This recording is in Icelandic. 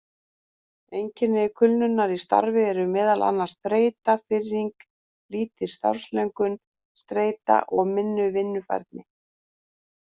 Einkenni kulnunar í starfi eru meðal annars þreyta, firring, lítil starfslöngun, streita og minni vinnufærni.